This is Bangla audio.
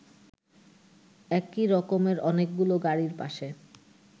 একই রকমের অনেকগুলো গাড়ির পাশে